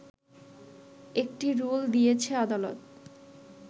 একটি রুল দিয়েছে আদালত